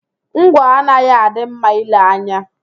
Ngwọ anaghị adị mma ìlè anya